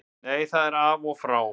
Nei það er af og frá.